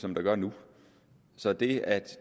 som der gør nu så det at